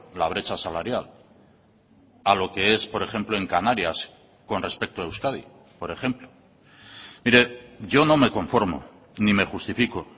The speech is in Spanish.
la brecha salarial a lo que es por ejemplo en canarias con respecto a euskadi por ejemplo mire yo no me conformo ni me justifico